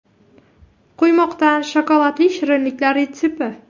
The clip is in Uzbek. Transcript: Quymoqdan shokoladli shirinlik retsepti.